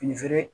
Fini feere